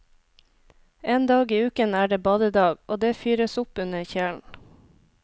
En dag i uken er det badedag, og det fyres opp under kjelen.